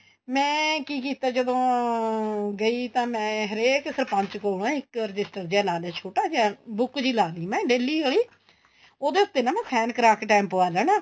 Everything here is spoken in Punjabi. ਮੈਂ ਕੀ ਕੀਤਾ ਜਦੋਂ ਗਈ ਤਾਂ ਮੈਂ ਹਰੇਕ ਸਰਪੰਚ ਕੋਲ ਨਾ ਇੱਕ register ਜਾ ਲਾ ਦੇ ਛੋਟਾ ਜਾ book ਜੀ ਲਾ ਲਈ ਮੈਂ daily ਵਾਲੀ ਉਹਦੇ ਉੱਤੇ ਨਾ ਮੈਂ sign ਕਰਾ ਕੇ time ਪੁਆ ਦੇਣਾ